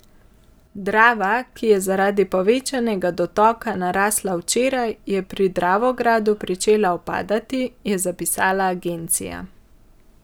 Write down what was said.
Drava, ki je zaradi povečanega dotoka narasla včeraj, je pri Dravogradu pričela upadati, je zapisala agencija.